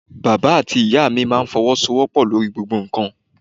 Bàbá àti Ìyá mi máa ń fọwọ́sowopo lórí gbogbo nǹkan.